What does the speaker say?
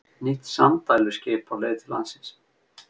Nýtt sanddæluskip á leið til landsins